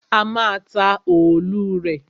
A má a ta òòlù rè.